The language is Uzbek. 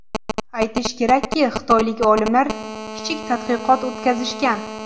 Aytish kerakki, xitoylik olimlar kichik tadqiqot o‘tkazishgan.